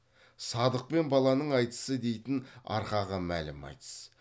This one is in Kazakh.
садық пен баланың айтысы дейтін арқаға мәлім айтыс